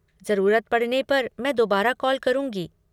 ज़रूरत पड़ने पर मैं दोबारा कॉल करूँगी।